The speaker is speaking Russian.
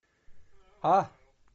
а